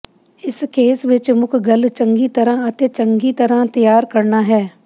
ਇਸ ਕੇਸ ਵਿੱਚ ਮੁੱਖ ਗੱਲ ਚੰਗੀ ਤਰਾਂ ਅਤੇ ਚੰਗੀ ਤਰ੍ਹਾਂ ਤਿਆਰ ਕਰਨਾ ਹੈ